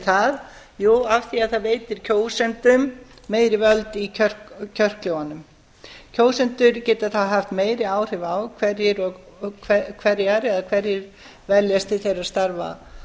hverju það jú af því að það veitir kjósendum meiri völd í kjörklefunum kjósendur geta þá haft meiri áhrif á hverjar eða hverjir veljast til þeirra starfa